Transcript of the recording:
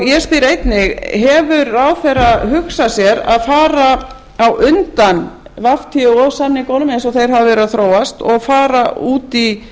ég spyr einnig hefur ráðherra hugsað sér að fara á undan átt samningunum eins og þeir hafa verið að þróast og fara út í